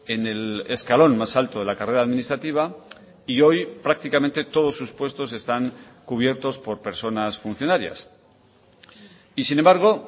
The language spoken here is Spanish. en el escalón más alto de la carrera administrativa y hoy prácticamente todos sus puestos están cubiertos por personas funcionarias y sin embargo